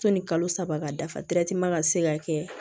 Sɔnni kalo saba ka dafa ka se ka kɛ